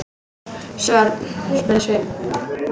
Hvern, spurði Sveinn.